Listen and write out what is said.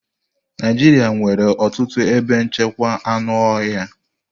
Naijiria nwere ọtụtụ ebe nchekwa anụ ọhịa.